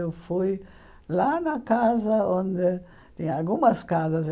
Eu fui lá na casa onde tinha algumas casas.